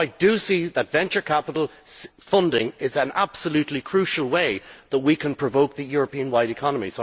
So I do see venture capital funding as an absolutely crucial way that we can provoke the European wide economy.